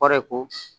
Kɔrɔ ye ko